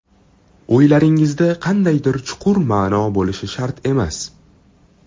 O‘ylaringizda qandaydir chuqur ma’no bo‘lishi shart emas.